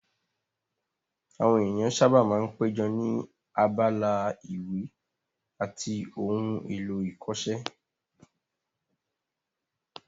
Àwọn ènìyàn sáábà máa ń péjọ ní abala ìwé àti ohun èlò ìkọṣẹ́